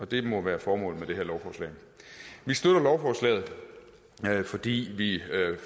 det må være formålet med det her lovforslag vi støtter lovforslaget fordi vi